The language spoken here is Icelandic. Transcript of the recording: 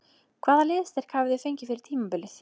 Hvaða liðsstyrk hafið þið fengið fyrir tímabilið?